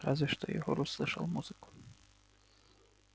разве что егор услышал музыку